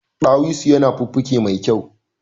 Dawisu yana fuffuke me kyau